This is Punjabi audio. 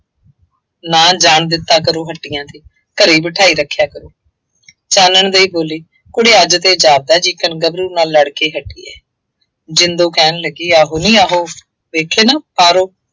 ਨਾ ਜਾਣ ਦਿੱਤਾ ਕਰੋ ਹੱਟੀਆਂ ਤੇ, ਘਰੇ ਹੀ ਬਿਠਾਈ ਰੱਖਿਆ ਕਰੋ। ਚਾਨਣ ਦੇਈ ਬੋਲੀ, ਕੁੜੇ ਅੱਜ ਤੇ ਜਾਪਦਾ, ਜਿਕਣ ਗੱਭਰੂ ਨਾਲ ਲੜ੍ਹ ਕੇ ਹਟੀ ਹੈ। ਜ਼ਿੰਦੋ ਕਹਿਣ ਲੱਗੀ ਆਹੋ ਨੀ ਆਹੋ, ਵੇਖੇ ਨਾ ਪਾਰੋ।